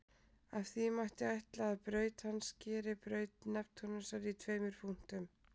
Af því mætti ætla að braut hans skeri braut Neptúnusar í tveimur punktum.